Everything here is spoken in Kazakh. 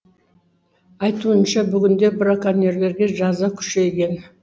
айтуынша бүгінде браконьерлерге жаза күшейген